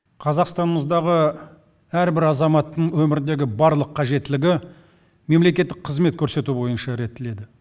қазақстанымыздағы әрбір азаматтың өміріндегі барлық қажеттілігі мемлекеттік қызмет көрсету бойынша реттеледі